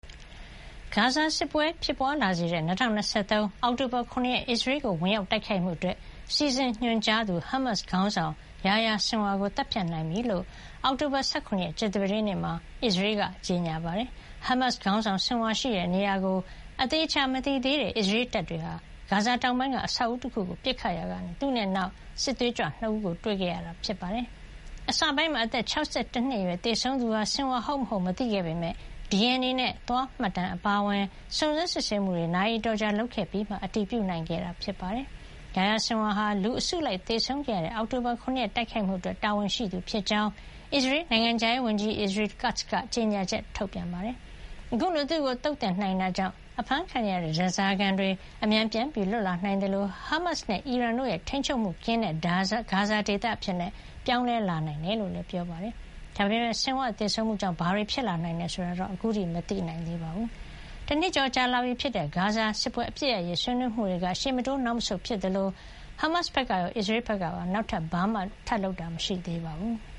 ဂါဇာစစ်ပွဲ ဖြစ်ပွါးလာစေတဲ့ ၂၀၂၃ အောက်တိုဘာ ၇ ရက် အစ္စရေးကို ဝင်ရောက်တိုက်ခိုက်မှုအတွက် စီစဉ်ညွှန်ကြားသူ ဟာမတ်စ်ခေါင်းဆောင် Yahya Sinwar ကို သတ်ဖြတ်နိုင်ပြီဖြစ်ကြောင်း အောက်တိုဘာ ၁၇ ရက် ကြာသပတေးနေ့မှာ အစ္စရေးက ကြေညာပါတယ်။ ဟာမတ်စ်ခေါင်းဆောင် Sinwar ရှိတဲ့နေရာကို သေချာမသိသေးတဲ့ အစ္စရေးတပ်တွေဟာ ဂါဇာတောင်ပိုင်းက အဆောက်အဦးတခုကို ပစ်ခတ်ရာကနေ သူနဲ့အတူ နောက်ထပ်စစ်သွေးကြွ ၂ ဦးကို တွေ့ခဲ့ရတာ ဖြစ်ပါတယ်။ အစပိုင်းမှာ အသက် ၆၁ နှစ်အရွယ်သေဆုံးသူဟာ Sinwar ဟုတ်မဟုတ် မသိခဲ့ပေမယ့် DNA နဲ့ သွားမှတ်တမ်း အပါအဝင် စုံစမ်း စစ်ဆေးမှုတွေ နာရီအတော်ကြာ လုပ်ခဲ့ပြီးမှ အတည်ပြုနိုင်ခဲ့တာ ဖြစ်ပါတယ်။ Yahya Sinwar ဟာ လူအစုလိုက် သေဆုံးခဲ့ရတဲ့ အောက်တိုဘာ ၇ ရက် တိုက်ခိုက်မှုအတွက် တာဝန်ရှိသူဖြစ်ကြောင်း အစ္စရေး နိုင်ငံခြားရေးဝန်ကြီး Israel Katz က ကြေညာချက်ထုတ်ပါတယ်။ အခုလို သူ့ကိုသုတ်သင်နိုင်ခဲ့တာကြောင့် အဖမ်းခံနေရတဲ့ ဓါးစာခံတွေ အမြန်ပြန်လွတ်လာနိုင်သလို ဟာမတ်စ်နဲ့အီရန်တို့ရဲ့ ထိန်းချုပ်မှုကင်းတဲ့ ဂါဇာဒေသအဖြစ် ပြောင်းလဲလာနိုင်တယ်လို့လည်း ပြောပါတယ်။ ဒါပေမယ့် Sinwar သေဆုံးမှုကြောင့် ဘာတွေ ဖြစ်လာနိုင်တယ်ဆိုတာာ အခုထိတော့ မသိနိုင်သေးပါဘူး။ တနှစ်ကျော်လာပြီဖြစ်တဲ့ ဂါဇာစစ်ပွဲ အပစ်ရပ်ရေး ဆွေးနွေးမှုတွေက ရှေ့မတိုးနောက်မဆုတ်ဖြစ်နေ သလို ဟာမတ်စ်ဘက်ကရော အစ္စရေးဘက်ကပါ နောက်ထပ် ဘာမှ လုပ်ဆောင်တာမရှိသေးပါဘူး။